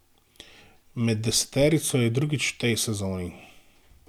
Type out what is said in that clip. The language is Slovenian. Med deseterico je drugič v tej sezoni.